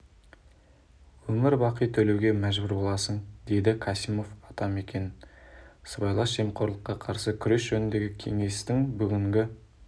өмір бақи төлеуге мәжбүр боласың деді касимов атамекен сыбайлас жемқорлыққа қарсы күрес жөніндегі кеңестің бүгінгі